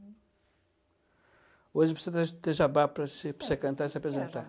Hoje precisa ter jabá para você para você cantar e se apresentar. O que é jabá?